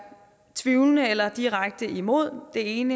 tvivlende eller direkte imod en